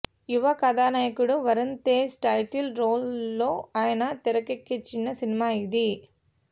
యువ కథానాయకుడు వరుణ్తేజ్ టైటిల్ రోల్లో ఆయన తెరకెక్కించిన సినిమా ఇది